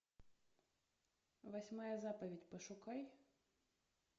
восьмая заповедь пошукай